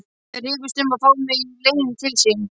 Þeir rifust um að fá mig í liðin til sín.